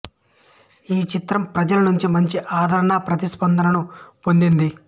ఈ చిత్రం ప్రజల నుంచి మంచి ఆదరణ ప్రతిస్పందనను పొందింది